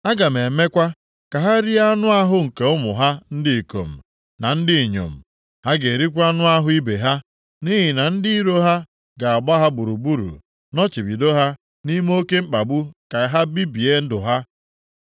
Aga m emekwa ka ha rie anụ ahụ nke ụmụ ha ndị ikom na ndị inyom. Ha ga-erikwa anụ ahụ ibe ha, nʼihi na ndị iro ha ga-agba ha gburugburu nọchibido ha nʼime oke mkpagbu + 19:9 Gbochie nri ọbụla isite nʼezi rute ha aka ka ha bibie ndụ ha.’